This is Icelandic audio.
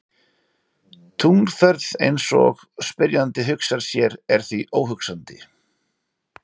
Tunglferð eins og spyrjandi hugsar sér er því óhugsandi.